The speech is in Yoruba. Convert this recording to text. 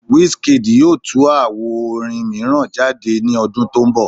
Wizkid yoo tu awo orin miiran jade ni ọdun to nbọ